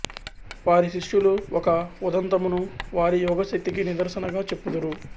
వారి శిష్యులు ఒక ఉదంతమును వారి యోగశక్తికి నిదర్శనగా చెప్పుదురు